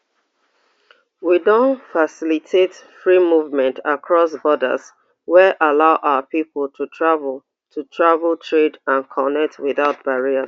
we don facilitate free movement across borders wey allow our pipo to travel to travel trade and connect without barriers